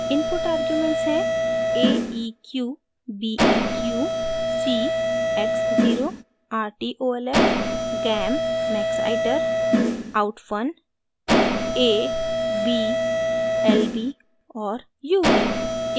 input arguments हैं aeq beq c x zero rtolf gam maxiter outfun a b lb और ub